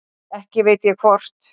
Ekki veit ég hvort